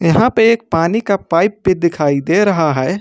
यहां पे एक पानी का पाइप भी दिखाई दे रहा है।